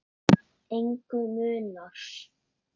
Engu munar.